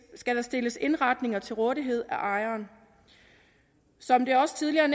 skal der stilles indretninger til rådighed af ejeren som det også tidligere er